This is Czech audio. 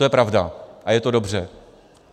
To je pravda a je to dobře.